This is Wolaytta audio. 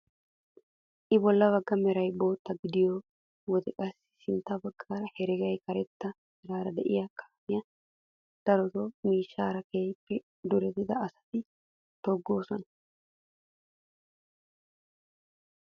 I bolla bagga meray bootta gidiyoo wode qasi sintta bagga heregay karetta meraara de'iyoo kaamiyaa darotoo miishshara keehippe durettida asati toggoosona!